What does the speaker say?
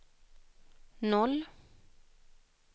noll